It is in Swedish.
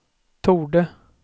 torde